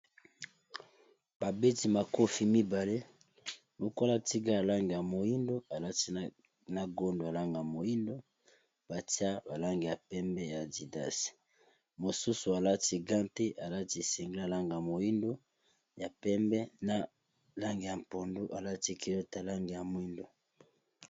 babeti makofi mibale mokola tiga ya lange ya moindo alati na gondo alanga ya moindo batia balange ya pembe ya didasi mosusu alati gante alati esengli alangaa moindo ya pembe na lange ya mpondo alati kilote langa ya moindo